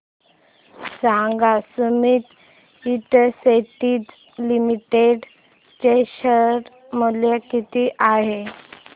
सांगा Sumeet industries limited चे share मूल्य किती आहे